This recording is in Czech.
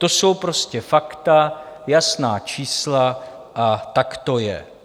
To jsou prostě fakta, jasná čísla a tak to je.